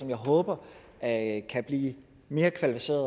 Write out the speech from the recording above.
jeg håber at kan blive mere kvalificeret